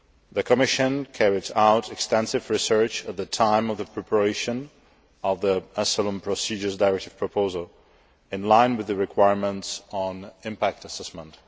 The Commission carried out extensive research at the time of the preparation of the Asylum Procedures Directive proposal, in line with the requirements on impact assessment.